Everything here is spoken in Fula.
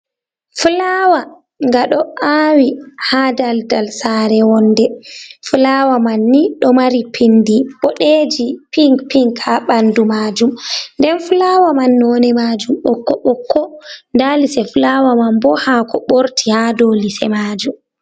fulawa nga do awi ha daldal sare wonde, fulawa man ni do mari pindi bodeji pink pink ha bandu majum, nden fulawa man none majum bokko bokko nda lise fulawa man bo hako borti ha do lise majum